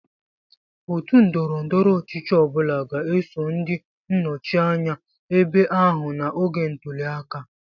Otu ndọrọ ndọrọ ọchịchị ọ bụla ga-eso ndị nnọchi anya ebe ahụ n'oge ntuli aka.